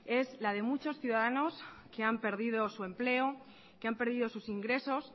es la de muchos ciudadanos que han perdido su empleo que han perdido sus ingresos